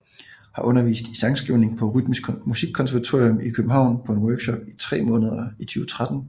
Har undervist i sangskrivning på Rytmisk Musikkonservatorium i København på en workshop i tre måneder i 2013